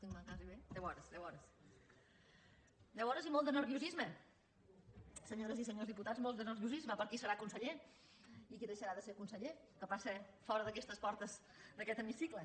deu hores i molt de nerviosisme senyores i senyors diputats molt de nerviosisme per qui serà conseller i qui deixarà de ser conseller el que passa fora d’aquestes portes d’aquest hemicicle